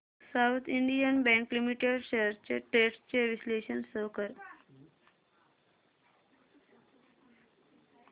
south Indian Bank Limited shares trends चे विश्लेषण show कर